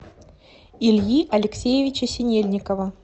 ильи алексеевича синельникова